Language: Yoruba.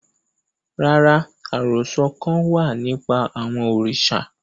Rara, arosọ kan wa nipa awọn oriṣa